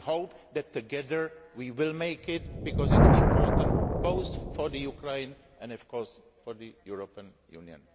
We hope that together we will make it, because it is important both for Ukraine and, of course, for the European Union.